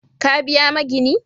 Ka biya maginin?